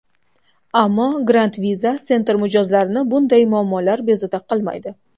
Ammo, Grand Visa Center mijozlarini bunday muammolar bezovta qilmaydi.